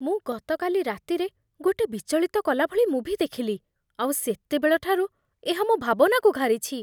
ମୁଁ ଗତକାଲି ରାତିରେ ଗୋଟେ ବିଚଳିତ କଲାଭଳି ମୁଭି ଦେଖିଲି, ଆଉ ସେତେବେଳ ଠାରୁ ଏହା ମୋ ଭାବନାକୁ ଘାରିଛି